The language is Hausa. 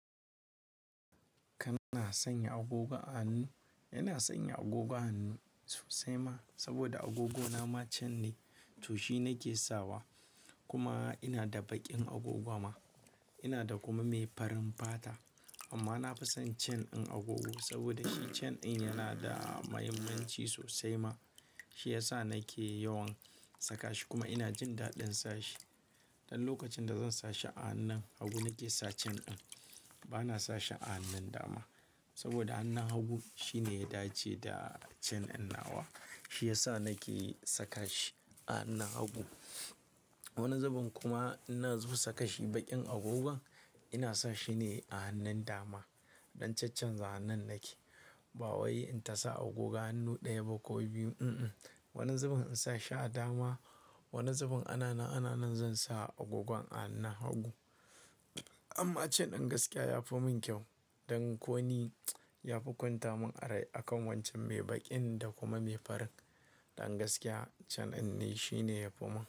Kana sanya agogon a hannu, ina sanya agogon hannu sosai ma saboda agogona ma cen ne. To shi nake sawa kuma ina da baƙin agogon ma. Ina da kuma mai farin fata amma na fi son cen in agogo saboda shi cen in yana da mahimmanci sosai ma. Shi yasa nake yawan saka shi kuma ina jin daɗin sa shi. Dan lokacin da zan sa shi a hannun hagu nake sa cen in. Bana sa shi a hannun dama saboda a hannun hagu shine ya dace da cen in nawa. Shi yasa nake saka shi a hannun hagu. Wani zubin kuma in nazo saka shi baƙin agogon ina sa shi ne a hannun dama. Don caccanza hannun nake. Ba wai in ta sa agogon hannu ɗaya ba ko biyu, Wani zubin in sa shi a dama, wani zubin ana nan zan sa agogon a hannun hagu. Amma cen in gaskiya ya fi mun kyau don ko ni ya fi kwanta mun a rai akan wancan mai baƙin da kuma mai farin. Dan gaskiya cen in ne shine ya fi mun.